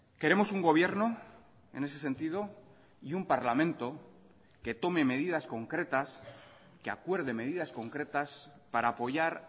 queremos un gobierno en ese sentido y un parlamento que tome medidas concretas que acuerde medidas concretas para apoyar